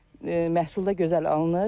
Məhsul da gözəl alınır.